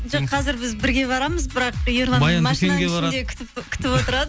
жоқ қазір біз бірге барамыз бірақ ерлан күтіп отырады